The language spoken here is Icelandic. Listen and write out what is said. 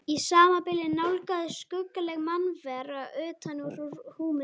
Í sama bili nálgaðist skuggaleg mannvera utan úr húminu.